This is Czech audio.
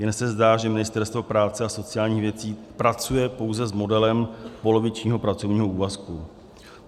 Jen se zdá, že Ministerstvo práce a sociálních věcí pracuje pouze s modelem polovičního pracovního úvazku.